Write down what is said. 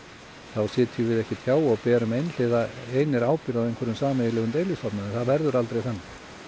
þá sitjum við ekki hjá og berum einhliða einir ábyrgð á einhverjum sameiginlegum deilistofni það verður aldrei þannig